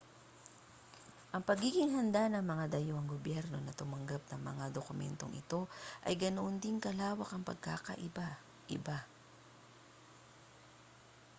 ang pagiging handa ng mga dayuhang gobyerno na tumanggap ng mga dokumentong ito ay ganoon din kalawak ang pagkakaiba-iba